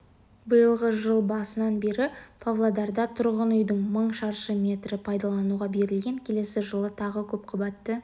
биылғы жыл басынан бері павлодарда тұрғын үйдің мың шаршы метрі пайдалануға берілген келесі жылы тағы көпқабатты